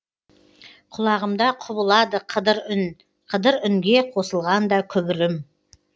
құлағымда құбылады қыдыр үн қыдыр үнге қосылғанда күбірім